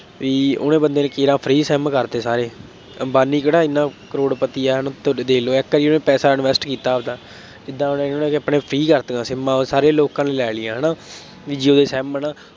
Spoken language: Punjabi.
ਬਈ ਉਹਨੇ ਬੰਦੇ ਨੇ ਕੇਰਾਂ free SIM ਕਰਤੇ ਸਾਰੇ, ਅੰਬਾਨੀ ਕਿਹੜਾ ਐਨਾ ਕਰੋੜਪਤੀ ਹੈ, ਹੁਣ ਤੁਹਾਡੇ ਦੇਖ ਲਉ, ਇੱਕ ਨਾ ਉਹਨੇ ਪੈਸਾ invest ਕੀਤਾ ਆਪਦਾ, ਏਦਾਂ ਉਹਨੇ ਉਹਨੇ ਆਪਣੇ free ਕਰਤੇ ਆ SIM ਸਾਰੇ ਲੋਕਾਂ ਨੇ ਲਈਆ ਹੈ ਨਾ, ਬਈ ਜੀਓ ਦੇ SIM ਹੈ ਨਾ